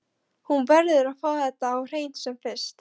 Hún verður að fá þetta á hreint sem fyrst.